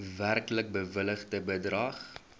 werklik bewilligde bedrag